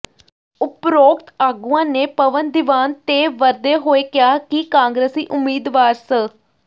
ਉਪਰੋਕਤ ਆਗੂਆਂ ਨੇ ਪਵਨ ਦੀਵਾਨ ਤੇ ਵਰਦੇ ਹੋਏ ਕਿਹਾ ਕਿ ਕਾਂਗਰਸੀ ਉਮੀਦਵਾਰ ਸ